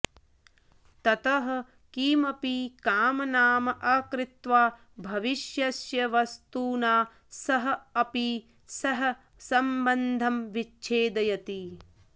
ततः किमपि कामनाम् अकृत्वा भविष्यस्य वस्तुना सह अपि सः सम्बन्धं विच्छेदयति